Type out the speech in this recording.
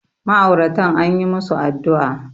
ma'auratan an yi musu addu'a